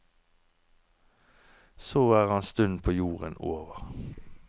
Så er hans stund på jorden over.